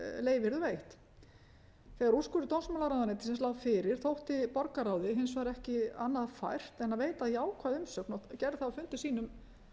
yrðu veitt þegar úrskurður dómsmálaráðuneytisins lá fyrir þótti borgarráði hins vegar ekki annað fært en að að veita jákvæða umsögn og gerði það á fundi sínum